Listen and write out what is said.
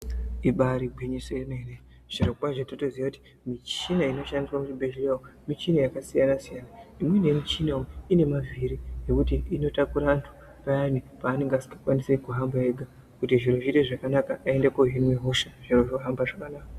Ibari gwinyiso yemene zvirokwazvo totoziya kuti muchina inoshandiswa muzvibhedhleya umu muchina yakasiyana siyana imweni yemuchina inemavhiri mavhiri nekuti inotakura vantu payani panenge asingakwanisi kuhamba ega kuti zviro zviite zvakanaka aende kunohinwa hosha zviro zvohamba zvakanaka